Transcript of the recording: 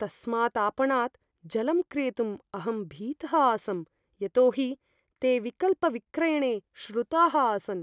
तस्मात् आपणात् जलं क्रेतुं अहं भीतः आसम्, यतोहि ते विकल्पविक्रयणे श्रुताः आसन्।